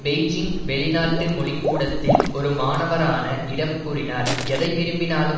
Beijing வெளிநாட்டு மொழி கூடத்தில் ஒரு மாணவரான இடம் கூறினார் எதை விரும்பினாலும்